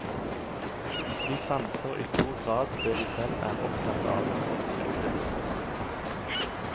Vi sanser i stor grad det vi selv er opptatt av, ofte ubevisst.